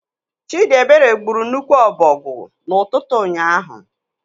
Chidiebere gburu nnukwu ọbọgwụ n'ụtụtụ ụnyaahụ.